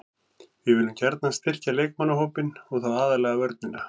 Við viljum gjarnan styrkja leikmannahópinn og þá aðallega vörnina.